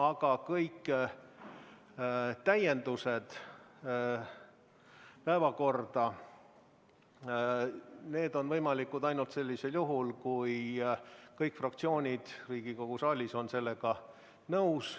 Aga kõik päevakorra täiendused on võimalikud ainult sellisel juhul, kui kõik fraktsioonid Riigikogu saalis on sellega nõus.